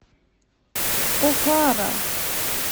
окара